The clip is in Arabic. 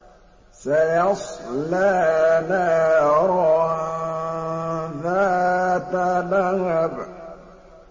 سَيَصْلَىٰ نَارًا ذَاتَ لَهَبٍ